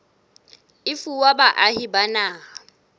e fuwa baahi ba naha